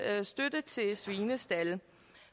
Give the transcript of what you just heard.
støtte til svinestalde